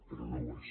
però no ho és